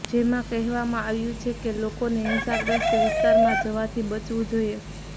જેમાં કહેવામાં આવ્યું છે કે લોકોને હિંસાગ્રસ્ત વિસ્તારમાં જવાથી બચવું જોઈએ